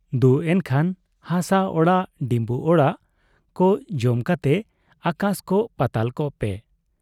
ᱫᱩ ᱮᱱᱠᱷᱟᱱ ᱦᱟᱥᱟ ᱟᱲᱟᱜ ᱰᱤᱢᱵᱩ ᱟᱲᱟᱜ ᱠᱚ ᱡᱚᱢ ᱠᱟᱛᱮ ᱟᱠᱟᱥ ᱠᱚᱜ ᱯᱟᱛᱟᱞ ᱠᱚᱜ ᱯᱮ ᱾